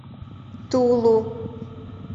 тулу